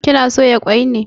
Kina soya kwai ne?